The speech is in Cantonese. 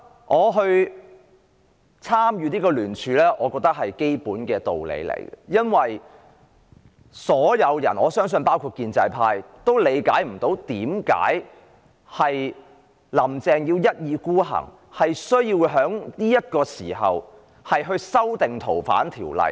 我當時參與聯署，我覺得是基本的道理，因為所有人——我相信包括建制派在內——都無法理解"林鄭"為何要一意孤行，必須在當時修訂《逃犯條例》。